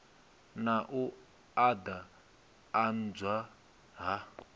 na u and adzwa ha